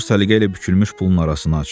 Seymur səliqə ilə bükülmüş pulun arasını açdı.